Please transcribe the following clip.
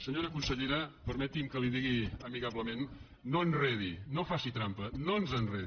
senyora consellera permeti’m que li ho digui amigablement no enredi no faci trampa no ens enredi